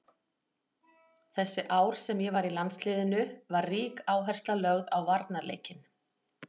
Þessi ár sem ég var í landsliðinu var rík áhersla lögð á varnarleikinn.